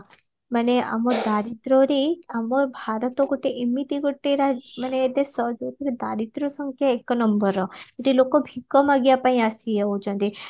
ଆମ ଦାରିଦ୍ରରେ ଆମ ଭାରତ ଗୋଟେ ଏମିତି ଗୋଟେ ରା ମାନେ ଦେଶ ଯୋଉଥିରେ ଦାରିଦ୍ର ସଂଖ୍ୟା ଏକ number କିନ୍ତୁ ଲୋକ ଭିକ ମାଗିବା ପାଇଁ ଆସିଯାଉଚନ୍ତି